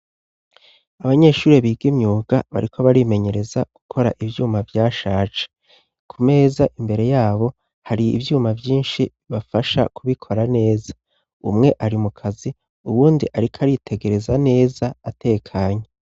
Abanyeshuri biga imyuga, bariko barimenyereza gukora ivyuma vyashaje, ku meza imbere yabo, hari ivyuma vyinshi bibafasha kubikora neza, umwe ari mukazi, uwundi ariko aritegereza neza atekanye.